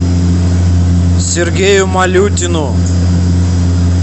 сергею малютину